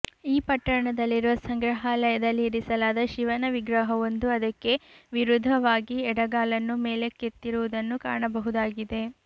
ಈ ಪಟ್ಟಣದಲ್ಲಿರುವ ಸಂಗ್ರಹಾಲಯದಲ್ಲಿ ಇರಿಸಲಾದ ಶಿವನ ವಿಗ್ರಹವೊಂದು ಅದಕ್ಕೆ ವಿರುದ್ಧವಾಗಿ ಎಡಗಾಲನ್ನು ಮೇಲಕ್ಕೆತ್ತಿರುವುದನ್ನು ಕಾಣಬಹುದಾಗಿದೆ